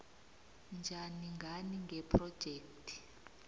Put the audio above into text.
njani ngani ngephrojekhthi